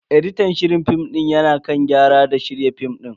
Editan shirin film din ya na kan gyara da shirya film din.